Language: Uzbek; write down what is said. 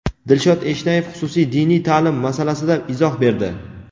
Dilshod Eshnayev xususiy diniy ta’lim masalasida izoh berdi.